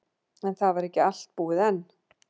En það var ekki allt búið enn.